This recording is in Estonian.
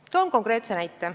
Toon konkreetse näite.